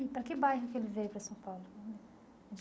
E para que bairro que ele veio para São Paulo?